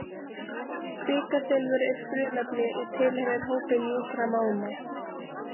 Kvikasilfur er frumefni og tilheyrir hópi mjúkra málma.